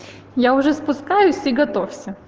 я уже спускаюсь и готовься